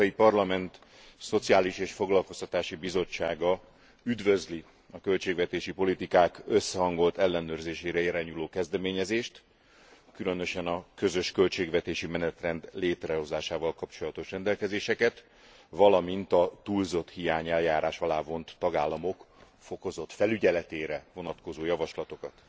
Az Európai Parlament Szociális és Foglalkoztatási Bizottsága üdvözli a költségvetési politikák összehangolt ellenőrzésére irányuló kezdeményezést, különösen a közös költségvetési menetrend létrehozásával kapcsolatos rendelkezéseket, valamint a túlzotthiány eljárás alá vont tagállamok fokozott felügyeletére vonatkozó javaslatokat.